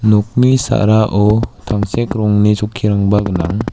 nokni sa·rao tangsek rongni chokkirangba gnang.